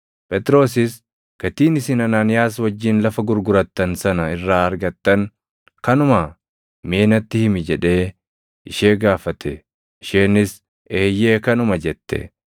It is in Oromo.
Phexrosis, “Gatiin isin Anaaniyaas wajjin lafa gurgurattan sana irraa argattan kanumaa? Mee natti himi!” jedhee ishee gaafate. Isheenis, “Eeyyee kanuma” jette.